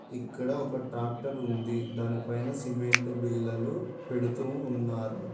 ఇక్కడ ఒక ట్రాక్టర్ ఉంది దానిపైన సిమెంట్ బిళ్ళలు పెడుతూ ఉన్నారు.